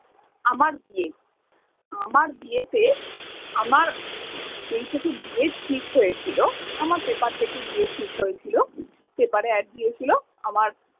আমার বিয়ে আমার বিয়েতে আমার যেই থেকে বিয়ে ঠিক হয়েছিল আমার পেপার দেখে বিয়ে ঠিক হয়েছিল পেপারে অ্যাড দিয়েছিলো আমার।